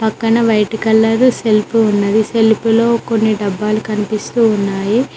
కన white colour shelf ఉన్నది shelf లో కొన్ని డబ్బాలు కనిపిస్తూ ఉన్నాయి.